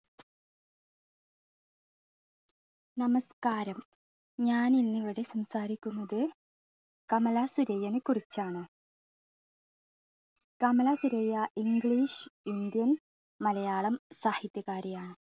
നമസ്കാരം, ഞാൻ ഇന്ന് ഇവിടെ സംസാരിക്കുന്നത് കമല സുരയ്യനെ കുറിച്ചാണ്. Kamala Surayya english, indian Malayalam സാഹിത്യകാരിയാണ്.